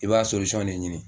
I b'a ne ɲini.